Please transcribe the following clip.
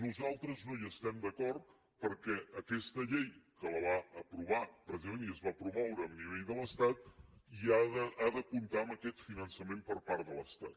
nosaltres no hi estem d’acord perquè aquesta llei que la va aprovar precisament i es va promoure a nivell de l’estat ha de comptar amb aquest finançament per part de l’estat